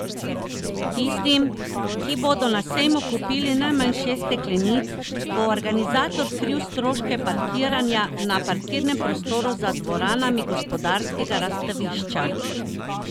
Tistim, ki bodo na sejmu kupili najmanj šest steklenic, bo organizator kril stroške parkiranja na parkirnem prostoru za dvoranami Gospodarskega razstavišča.